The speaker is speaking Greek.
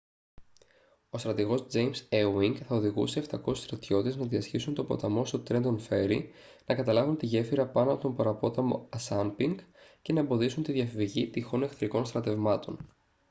ο στρατηγός τζέιμς έουινγκ θα οδηγούσε 700 στρατιώτες να διασχίσουν τον ποταμό στο τρέντον φέρι να καταλάβουν τη γέφυρα πάνω από τον παραπόταμο ασάνπινκ και να εμποδίσουν τη διαφυγή τυχόν εχθρικών στρατευμάτων